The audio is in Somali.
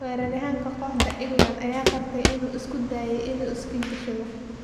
Weeraryahanka kooxda England ayaa qirtay inuu isku dayay inuu is-kii gashado.